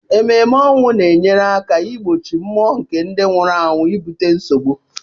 Emume ọnwụ na enyere aka igbochi mmụọ nke ndị nwụrụ anwụ ibute nsogbu.